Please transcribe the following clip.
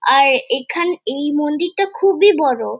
আর এখান এই মন্দিরটা খুবই বড়ো।